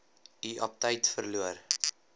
u aptyt verloor